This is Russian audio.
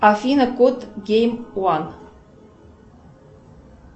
афина код гейм ван